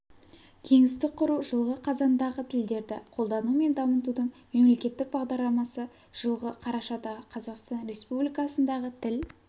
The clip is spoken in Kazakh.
кеңістік құру жылғы қазандағы тілдерді қолдану мен дамытудың мемлекеттік бағдарламасы жылғы қарашадағы қазақстан республикасындағы тіл